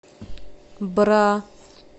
бра